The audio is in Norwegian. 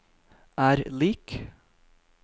er lik